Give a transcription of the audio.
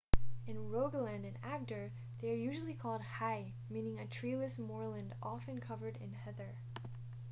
in rogaland and agder they are usually called hei meaning a treeless moorland often covered in heather